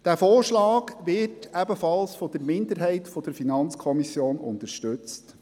Dieser Vorschlag wird ebenfalls von der Minderheit der FiKo unterstützt.